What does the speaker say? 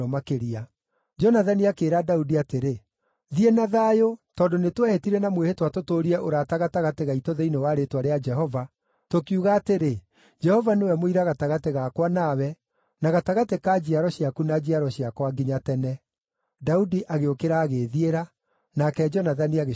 Jonathani akĩĩra Daudi atĩrĩ, “Thiĩ na thayũ, tondũ nĩtwehĩtire na mwĩhĩtwa tũtũũrie ũrata gatagatĩ gaitũ thĩinĩ wa rĩĩtwa rĩa Jehova, tũkiuga atĩrĩ, ‘Jehova nĩwe mũira gatagatĩ gakwa nawe, na gatagatĩ ka njiaro ciaku na njiaro ciakwa nginya tene.’ ” Daudi agĩũkĩra agĩĩthiĩra, nake Jonathani agĩcooka itũũra-inĩ.